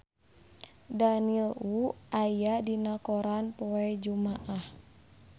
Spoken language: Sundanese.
Daniel Wu aya dina koran poe Jumaah